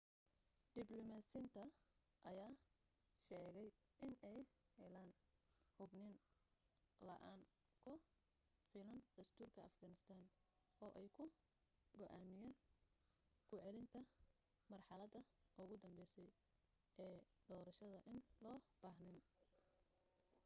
diblomaasiyiinta ayaa sheegay inay heleen hubniin la'aan ku filan dastuurka afghanistan oo ay ku go'aamiyaan ku celinta marxaladda ugu dambeysay ee doorashadda in loo baahneen